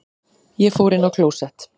Ég fór inn á klósett.